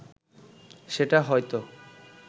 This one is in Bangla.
সেটা হয়ত